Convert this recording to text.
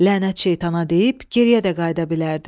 Lənət şeytana deyib geriyə də qayıda bilərdi.